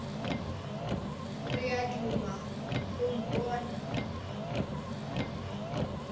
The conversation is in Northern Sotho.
re o duma go mpona